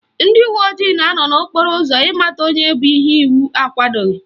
Ndị uwe ojii na-anọ n'okporo ụzọ ịmata onye bu ihe iwu akwadoghi